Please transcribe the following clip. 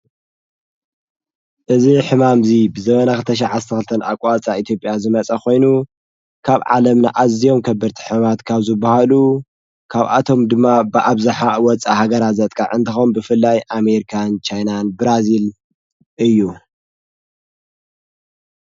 እዝ ሕማምዙይ ብዘበናኽተሽዓ ተልተን ኣቋፃ ኢቲጴያ ዝመጸ ኾይኑ ካብ ዓለም ንኣዘዮም ከብርቲ ሕማት ካብዙ በሃሉ ካብ ኣቶም ድማ ብኣብዝሓ ወፃ ሃገራ ዘጥቃ እንታኾም ብፍላይ ኣሜርካን ካይናን ብራዝል እዩ።